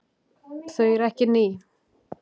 Þau eru ekki ný.